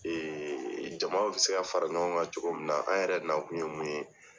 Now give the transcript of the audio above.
jama bi se ka fara ɲɔgɔn kan cogo min na, an yɛrɛ nakun ye mun ye.